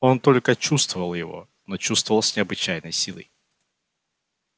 он только чувствовал его но чувствовал с необычайной силой